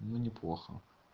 ну неплохо